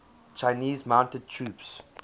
chinese mounted troops